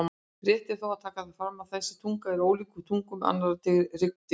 Rétt er þó að taka fram að þessi tunga er ólíkt tungum annarra hryggdýra.